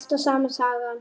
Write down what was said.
Það er alltaf sama sagan.